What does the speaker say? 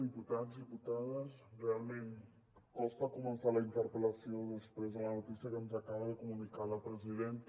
diputats diputades realment costa començar la interpel·lació després de la notícia que ens acaba de comunicar la presidenta